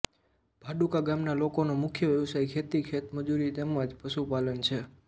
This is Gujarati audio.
ભાડુકા ગામના લોકોનો મુખ્ય વ્યવસાય ખેતી ખેતમજૂરી તેમ જ પશુપાલન છે